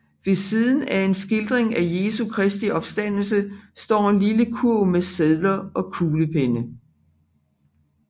Ved siden af en skildring af Jesu Kristi opstandelse står en lille kurv med sedler og kuglepenne